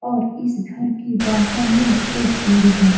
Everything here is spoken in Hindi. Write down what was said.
और इस घर के बाहर में एक पेड़ भी है।